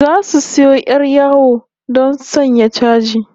Zasu sayo 'yar yawo don sanya chaji